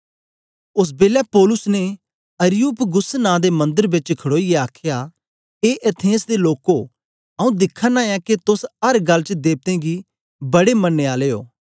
ओस बेलै पौलुस ने अरियुपगुस नां दे मन्दर बेच खड़ोईयै आखया ए एथेंस दे लोको आंऊँ दिखाना ऐं के तोस अर गल्ल च देवतें गी बडे मनने आले ओ